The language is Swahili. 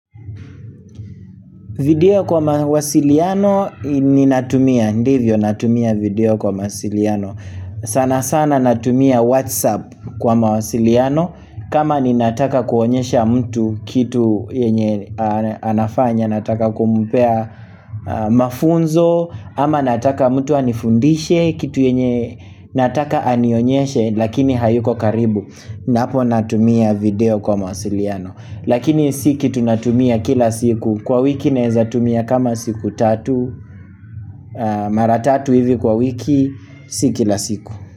Video kwa mawasiliano ninatumia, ndivyo natumia video kwa mawasiliano. Sana sana natumia whatsapp kwa mawasiliano kama ninataka kuonyesha mtu kitu yenye anafanya Nataka kumpea mafunzo ama nataka mtu anifundishe kitu yenye nataka anionyeshe Lakini hayuko karibu Napo natumia video kwa mawasiliano. Lakini si kitu natumia kila siku Kwa wiki naeza tumia kama siku tatu Mara tatu hivi kwa wiki Si kila siku.